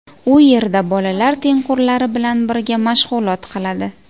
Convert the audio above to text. U yerda bolalar tengqurlari bilan birga mashg‘ulot qiladi.